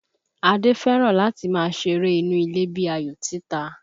Adé fẹ́ràn láti máa ṣeré inú ilé bíi ayò títa